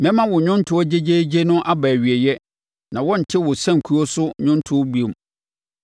Mɛma wo nnwontoɔ gyegyeegye no aba awieeɛ na wɔrente wo sankuo so nnwontoɔ no bio.